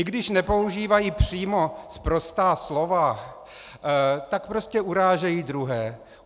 I když nepoužívají přímo sprostá slova, tak prostě urážejí druhé.